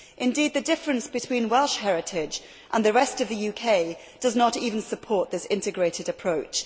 Indeed the difference between Welsh heritage and the rest of the UK does not even support this integrated approach.